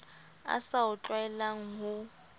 a sa o tlwaelang ho